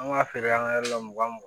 An b'a feere an ka yɔrɔ la mugan mugan